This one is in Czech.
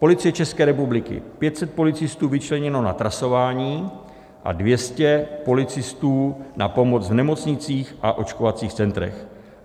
Policie České republiky: 500 policistů vyčleněno na trasování a 200 policistů na pomoc v nemocnicích a očkovacích centrech.